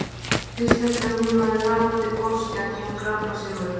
Fyrst eftir að hún hefði hrapað til botns gæti hún kraflað sig upp.